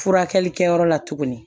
Furakɛli kɛyɔrɔ la tuguni